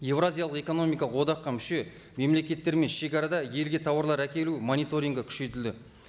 еуразиялық экономикалық одаққа мүше мемлекеттер мен шегарада елге тауарлар әкелу мониторингі күшейтілді